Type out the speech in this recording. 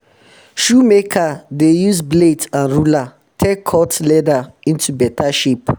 shoemaker um dey use blade and ruler take cut leather into beta shape um